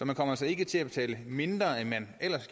man kommer altså ikke til at betale mindre end man ellers